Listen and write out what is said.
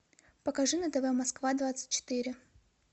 покажи на тв москва двадцать четыре